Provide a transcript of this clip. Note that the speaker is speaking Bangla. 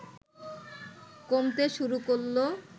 কমতে শুরু করল